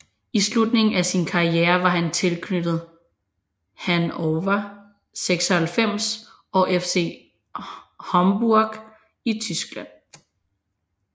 I slutningen af sin karriere var han tilknyttet Hannover 96 og FC Homburg i Tyskland